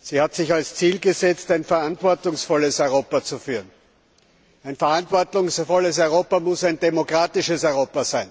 Sie hat sich zum Ziel gesetzt, ein verantwortungsvolles Europa zu führen. Ein verantwortungsvolles Europa muss ein demokratisches Europa sein.